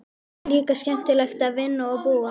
Hér er líka skemmtilegt að vinna og búa.